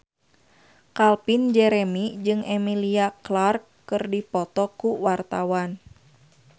Calvin Jeremy jeung Emilia Clarke keur dipoto ku wartawan